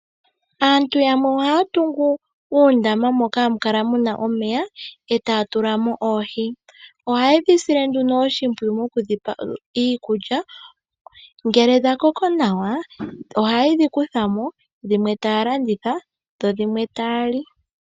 Aanru yamwe ohaya tungu oondama moka hamu kala omeya, e taya tula mo oohi. Ohaye dhi sile nduno oshimpwiyu moku dhi pa iikulya. Ngele dha koko nawa, ohaye dhi kutha mo dhimwe taya landitha dho dhimwe taya li.